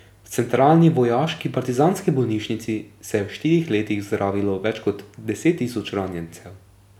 V centralni vojaški partizanski bolnišnici se je v štirih letih zdravilo več kot deset tisoč ranjencev.